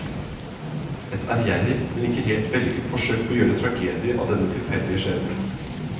Et ærgjerrig, men ikke helt vellykket forsøk på å gjøre tragedie av denne tilfeldige skjebne.